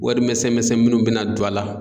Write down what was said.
Warimisɛn misɛn minnu bɛ na don a la.